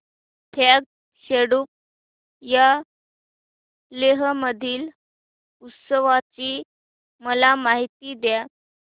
फ्यांग सेडुप या लेह मधील उत्सवाची मला माहिती द्या